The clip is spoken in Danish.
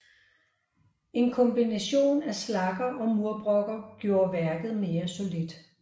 En kombination af slagger og murbrokker gjorde værket mere solidt